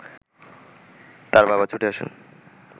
তার বাবা ছুটে আসেন